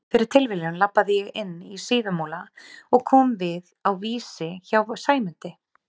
Fyrir tilviljun labbaði ég inn í Síðumúla og kom við á Vísi hjá Sæmundi